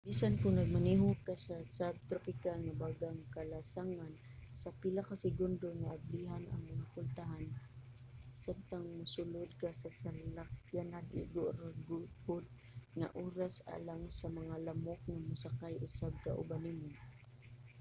bisan kon nagmaneho ka sa subtropical nga bagang kalasangan sa pila ka segundo nga ablihan ang mga pultahan samtang mosulod ka sa salakyanan igo ra pud nga oras alang sa mga lamok nga mosakay usab kauban nimo